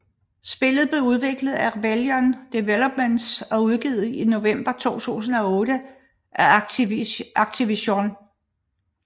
Spillet blev udviklet af Rebellion Developments og udgivet i november 2008 af Activision